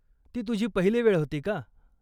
ती तुझी पहिली वेळ होती का?